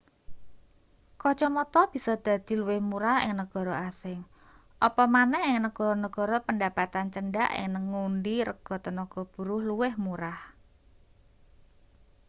kacamata bisa dadi luwih murah ing negara asing apa maneh ing negara-negara pendapatan cendhak ing ngendi rega tenaga buruh luwih murah